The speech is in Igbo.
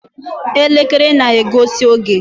Elekere na-egosi oge.